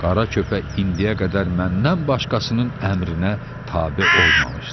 Qara köpək indiyə qədər məndən başqasının əmrinə tabe olmamışdı.